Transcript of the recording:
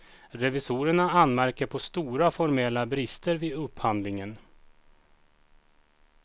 Revisorerna anmärker på stora formella brister vid upphandlingen.